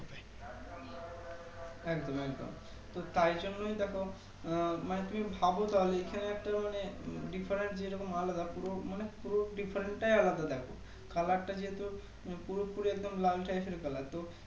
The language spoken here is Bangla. একদম একদম তো তাই জন্যই দেখো আহ মানে তুমি ভাবো তাহলে এখানে একটা দোকানে Different যে রকম আলাদা পুরো মানে pre-fund টাই আলাদা Color টা যেহেতু পুরোপুরি লাল টাইপের Color তো